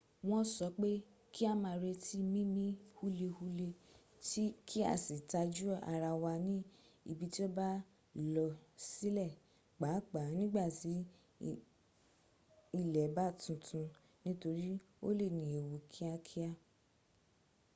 wọ́n sọ pé kí a ma retí mímí húlehúle kí a sì tajú ara wá ní ibi tí ó bá lọsílẹ̀, pàápàá nígbàtí ilẹ̀ bá tuntun nítorí ó lè ní ewu kíákíá